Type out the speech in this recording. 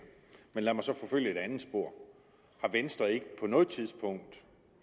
men lad mig så forfølge et andet spor har venstre ikke på noget tidspunkt